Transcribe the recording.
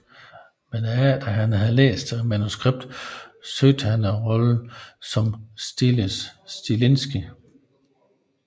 Men efter at han havde læst manuskriptet søgte han om rollen som Stiles Stilinski